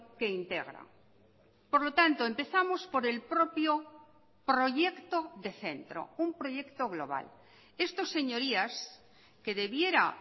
que integra por lo tanto empezamos por el propio proyecto de centro un proyecto global esto señorías que debiera